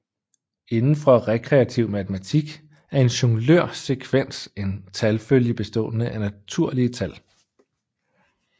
Inden for rekreativ matematik er en Jonglør sekvens en talfølge bestående af naturlige tal